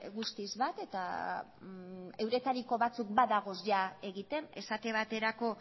guztiz bat eta euretariko batzuk badaude jada egiten esate baterako